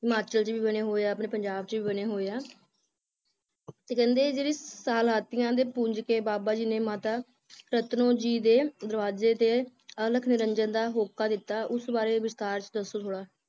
ਹਿਮਾਚਲ ਚ ਵੀ ਬਣੇ ਹੋਏ ਆ ਆਪਣੇ ਪੰਜਾਬ ਚ ਵੀ ਬਣੇ ਹੋਏ ਆ ਤੇ ਕਹਿੰਦੇ ਜਿਹੜੇ ਸਲਾਤੀਆਂ ਦੇ ਪੁੰਜ ਕੇ ਬਾਬਾ ਜੀ ਨੇ ਮਾਤਾ ਰਤਨੋ ਜੀ ਦੇ ਦਰਵਾਜੇ ਤੇ ਅਲਖ ਨਿਰੰਜਨ ਦਾ ਹੋਕਾ ਦਿੱਤਾ ਉਸ ਬਾਰੇ ਵਿਸਥਾਰ ਚ ਦੱਸੋ ਥੋੜਾ